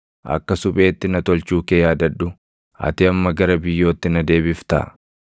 Akka supheetti na tolchuu kee yaadadhu. Ati amma gara biyyootti na deebiftaa?